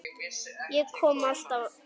Ég kom alltaf aftur.